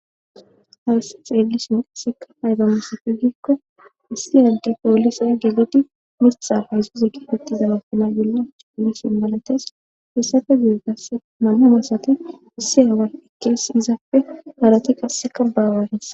Hamise xelishin aybe betizay giko issi ade poolise mitha makina bollappe wothanaw hanizaysi betes. Hesappe guye issi away izappe ekizaiysi betea